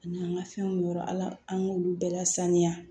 A n'an ka fɛnw bɛ yɔrɔ ala an k'olu bɛɛ lasaniya